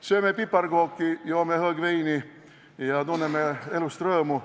Sööme piparkooke, joome hõõgveini ja tunneme elust rõõmu.